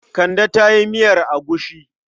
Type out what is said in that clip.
Kande ta yi miyar agushi.